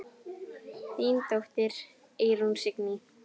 Þín dóttir, Eyrún Signý.